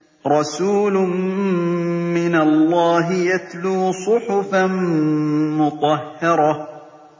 رَسُولٌ مِّنَ اللَّهِ يَتْلُو صُحُفًا مُّطَهَّرَةً